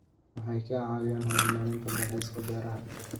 Waxay ka caawiyaan horumarinta dalxiiska beeraha.